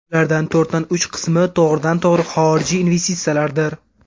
Ularning to‘rtdan uch qismi to‘g‘ridan-to‘g‘ri xorijiy investitsiyalardir.